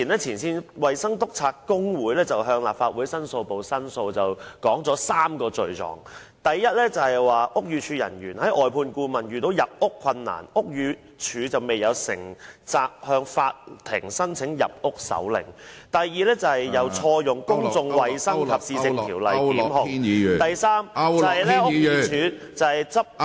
前線衞生督察工會早前向立法會申訴部作出申訴，並提出3個罪狀，第一，屋宇署外判顧問遇到入屋困難，但屋宇署未有承擔責任，向法庭申請入屋手令；第二，當局錯誤引用《公眾衞生及市政條例》提出檢控；第三，屋宇署執法......